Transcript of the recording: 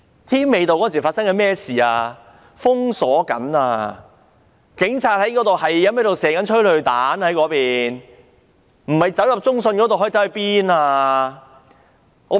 添美道當時被封鎖了，警察正不停發射催淚彈，人們不入中信大廈可以去哪裏呢？